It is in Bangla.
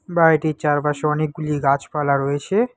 বাড়িটির চারপাশে অনেকগুলি গাছপালা রয়েছে।